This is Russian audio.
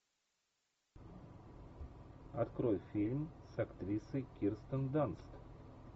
открой фильм с актрисой кирстен данст